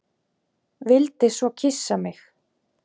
Vildi svo kyssa mig.